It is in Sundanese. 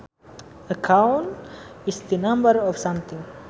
A count is the number of something